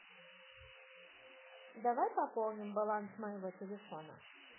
давай пополним баланс моего телефона